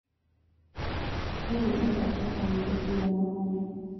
noguo etha thaka nyĩmbo cĩĩgana o na